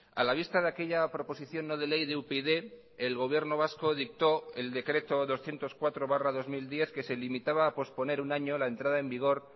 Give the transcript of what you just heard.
a la vista de aquella proposición no de ley de upyd el gobierno vasco dictó el decreto doscientos cuatro barra dos mil diez que se limitaba a posponer un año la entrada en vigor